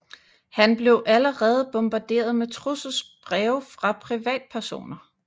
Han blev allerede bombarderet med trusselsbreve fra privatpersoner